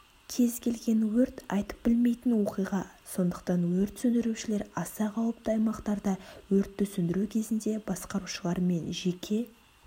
кез-келген өрт айтып білмейтін оқиға сондықтан өрт сөндірушілер аса қауіпті аймақтарда өртті сөндіру кезінде басқарушылармен жеке